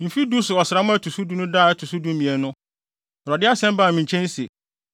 Mfe du so ɔsram a ɛto so du no da a ɛto so dumien no, Awurade asɛm baa me nkyɛn se: